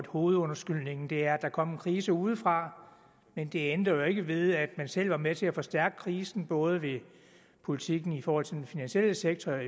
hovedundskyldningen er at der kom en krise udefra men det ændrer jo ikke ved at man selv var med til at forstærke krisen både ved politikken i forhold til den finansielle sektor